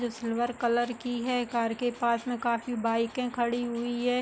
जो silver colour की है। कार के पास में काफी बाइके खड़ी हुई हैं।